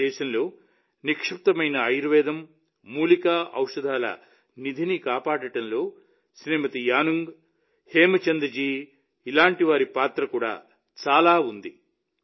మన దేశంలో నిక్షిప్తమైన ఆయుర్వేదం మూలికా ఔషధాల నిధిని కాపాడడంలో శ్రీమతి యానుంగ్ హేమ్చంద్ జీ వంటి వారి పాత్ర చాలా ఉంది